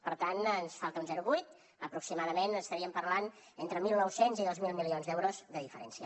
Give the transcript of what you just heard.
per tant ens falta un zero coma vuit aproximadament estaríem parlant entre mil nou cents i dos mil milions d’euros de diferència